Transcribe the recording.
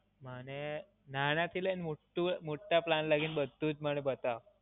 મને નાનાથી લઈને મોટું મોટા plan લગી ન બધુ જ મને બતાવો.